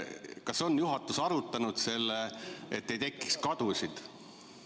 Kas juhatus on arutanud seda, et ei tekiks kadusid?